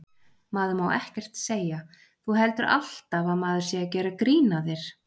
Maður má ekkert segja. þú heldur alltaf að maður sé að gera grín að þér.